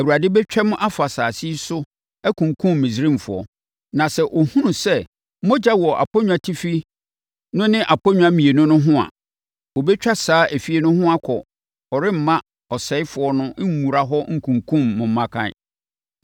Awurade bɛtwam afa asase yi so akunkum Misraimfoɔ. Na sɛ ɔhunu sɛ mogya wɔ aponnwatifi no ne aponnwa mmienu no ho a, ɔbɛtwa saa efie no ho akɔ a ɔremma ɔsɛefoɔ no nwura hɔ nkunkum mo mmakan.